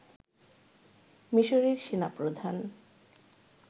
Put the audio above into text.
মিসরের সেনাপ্রধান